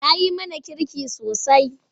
Ta yi mana kirki sosai.